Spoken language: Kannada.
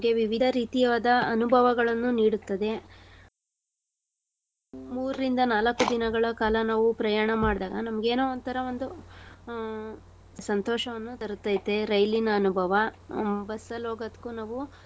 ನಮ್ಗೆ ವಿವಿಧ ರೀತಿಯವಾದ ಅನುಭವಗಳನ್ನು ನೀಡುತ್ತದೆ . ಮೂರಿಂದ ನಾಲಕ್ಕು ದಿನಗಳ ಕಾಲ ನಾವು ಪ್ರಯಾಣ ಮಾಡ್ದಾಗ ನಮ್ಗೇನೋ ಒಂತರ ಒಂದು ಆ ಸಂತೋಷವನ್ನು ತರುತೈತೆ ರೈಲಿನ ಅನುಭವ. ಆ bus ಅಲ್ ಹೋಗೋದ್ಕು ನಾವು.